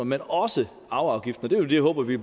men også arveafgiften det håber vi